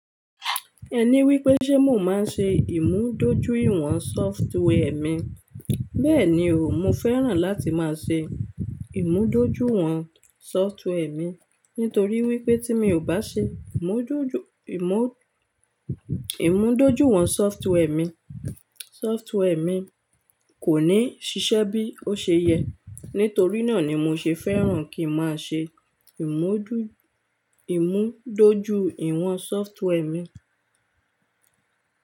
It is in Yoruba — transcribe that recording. Ẹni wípé ṣé mò máa ń ṣe ìmúdójúìwọ̀n software mi. Bẹ́ẹ̀ni o, mo fẹ́ràn láti máa ṣe ìmúdójúìwọ̀n software mi, nítorí wípé tí mi ò bá ṣe ìmúdójúìwọ̀n software mi, software mi kò ní ṣiṣẹ́ bí ó ṣe yẹ. Nítorí náà ni mo ṣe fẹ́ràn kí n máa ṣe ìmúdójúìwọ̀n software mi.